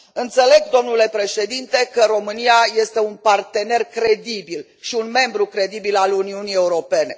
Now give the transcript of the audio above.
Înțeleg, domnule președinte, că România este un partener credibil și un membru credibil al Uniunii Europene.